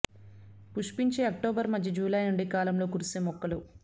పుష్పించే అక్టోబర్ మధ్య జూలై నుండి కాలంలో కురిసే మొక్కలు